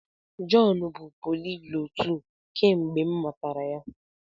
Jọn bụ poliglọtụ kemgbe m matara ya.